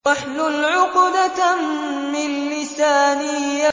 وَاحْلُلْ عُقْدَةً مِّن لِّسَانِي